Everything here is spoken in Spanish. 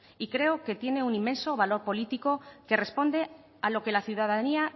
y creo que tiene un inmenso valor político que responde a lo que la ciudadanía